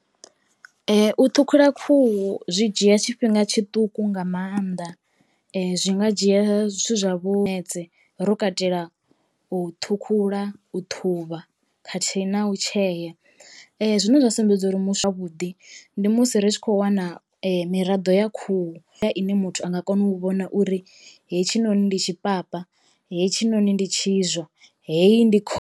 U ṱhukhula khuhu zwi dzhia tshifhinga tshiṱuku nga maanḓa zwi nga dzhia zwithu zwa vho ro katela u ṱhukhula, u ṱhuvha khathihi na u tshea. Zwine zwa sumbedza uri zwavhuḓi ndi musi ri tshi kho wana miraḓo ya khuhu ine muthu a nga kona u vhona uri hetshi noni ndi tshi papa, hetshinoni ndi tshizwa, heyi ndi kho....